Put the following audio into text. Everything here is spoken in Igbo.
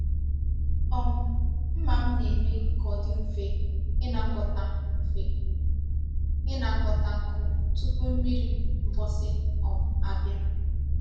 um Mma m na-eme ka ọ dị mfe ịnakọta mfe ịnakọta nkụ tupu mmiri mgbụsị um abịa.